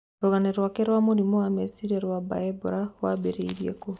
Rũgano rwake rwa mũrimu wa meciria rwa Mbaebora wambirie kũũ ?